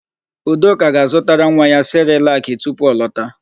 Udoka ga-azụtara nwa ya sịrịlakị tupu ọ lọta.